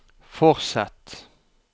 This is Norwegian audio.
fortsett